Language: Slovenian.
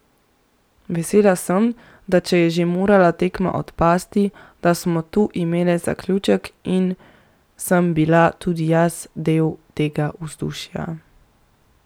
Vesela sem, da če je že morala tekma odpasti, da smo tu imele zaključek in sem bila tudi jaz del tega vzdušja.